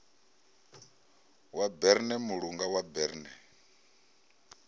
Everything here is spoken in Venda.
wa berne mulanga wa berne